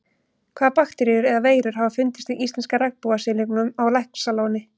Hvaða bakteríur eða veirur hafa fundist í íslenska regnbogasilungnum á Laxalóni?